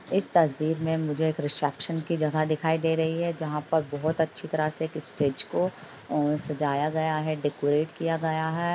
इस तस्वीर में मुझे एक रिसेप्शन की जगह दिखाई दे रही है जहाॅं पर बहोत अच्छी तरह एक स्टेज को सजाया गया है डेकोरेट किया गया है।